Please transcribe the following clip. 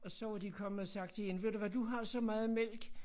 Og så var de kommet og sagt til hende ved du hvad du har så meget mælk